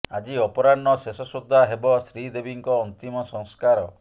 ଆଜି ଅପରାହ୍ନ ଶେଷ ସୁଦ୍ଧା ହେବ ଶ୍ରୀଦେବୀଙ୍କ ଅନ୍ତିମ ସଂସ୍କାର